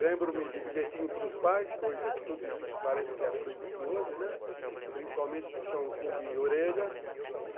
Lembro-me de bilhetinho para os pais, coisa que tudo isso parece que é proibido hoje, né, principalmente o puxãozinho de orelha.